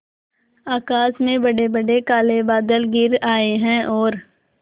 आकाश में बड़ेबड़े काले बादल घिर आए हैं और